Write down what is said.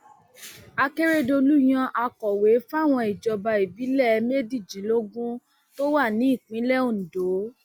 akérèdọlù yan akọwé fáwọn ìjọba ìbílẹ méjìdínlógún tó wà nípìnlẹ ondo